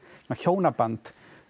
hjónaband